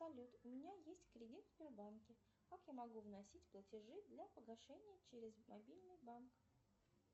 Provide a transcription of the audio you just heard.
салют у меня есть кредит в сбербанке как я могу вносить платежи для погашения через мобильный банк